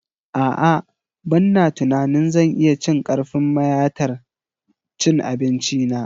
A'a ba na tunanin zan iya cin karfin mayatar cin abinci na